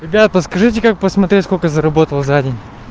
ребята скажите как посмотреть сколько заработал за день